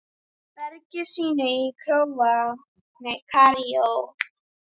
bergi sínu í Kaíró.